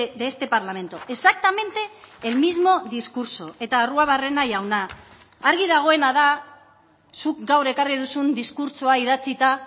de este parlamento exactamente el mismo discurso eta arruabarrena jauna argi dagoena da zuk gaur ekarri duzun diskurtsoa idatzita